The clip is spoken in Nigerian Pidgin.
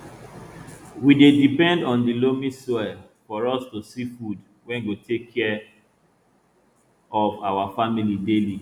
we dey depend on di loamy soil for us to see food wey go take care of our family daily